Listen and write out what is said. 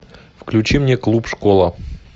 включи мне клуб школа